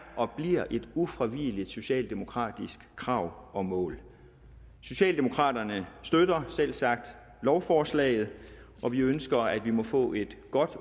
og bliver et ufravigeligt socialdemokratisk krav og mål socialdemokraterne støtter selvsagt lovforslaget og vi ønsker at vi må få et godt